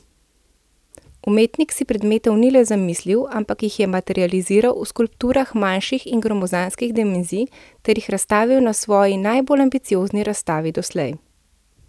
Umetnik si predmetov ni le zamislil, ampak jih materializiral v skulpturah manjših in gromozanskih dimenzij, ter jih razstavil na svoji najbolj ambiciozni razstavi doslej.